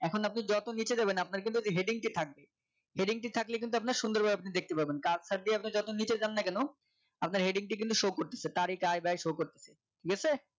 এখন আপনি যত নিচে যাবেন আপনার কিন্তু heading টি থাকবে heading ঠিক থাকলে কিন্তু আপনার সুন্দর ভাবে আপনি দেখতে পাবেন কাজ থাকতে আপনি যতই নিজে যান না কেন আপনার heading টি কিন্তু show করতেছে তার এটার আয় ব্যয় করতেছি গেছে